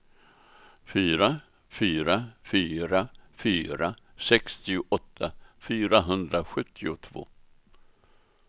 fyra fyra fyra fyra sextioåtta fyrahundrasjuttiotvå